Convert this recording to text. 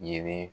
Yelen